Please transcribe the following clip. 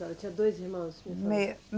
Tinha dois irmãos.